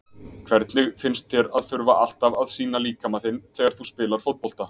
Hvernig finnst þér að þurfa alltaf að sýna líkama þinn þegar þú spilar fótbolta?